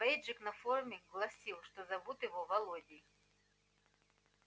бейджик на форме гласил что зовут его володей